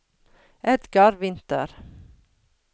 Edgar Winther